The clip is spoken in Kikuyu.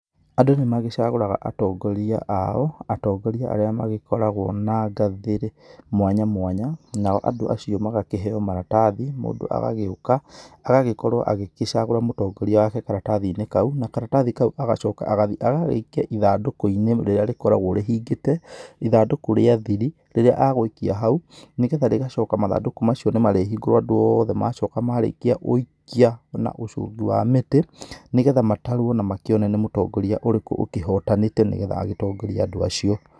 Andũ nĩ magĩcagũraga atongoria ao, atongoria arĩa magĩkoragwo na gathĩ mwanya mwanya, nao andũ acio magakĩheo maratathi mũndũ agagĩuka agagĩkorwo agĩkĩcagũra mũtongoria wake karatathi-inĩ kau na karatathi kau agacoka agathie agagĩikia ithandũkũ-inĩ rĩrĩa rĩkorwagwo rĩhingĩte ithandũkũ rĩa thiri rĩrĩa agũikia hau, nĩgetha rĩgacoka mathandũkũ macio nĩ marĩhingũrwo andũ othe macoka marĩkia gũikia na ũcugi wa mĩtĩ nĩgetha matarwo na na makĩone nĩ mũtongoria ũrĩkũ ũkĩhotanĩte nĩgetha agĩtongorie andũ acio.